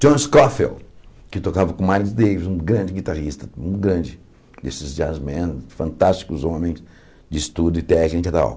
John Scofield, que tocava com o Miles Davis, um grande guitarrista, um grande desses jazzmen, fantásticos homens de estudo e técnica e tal.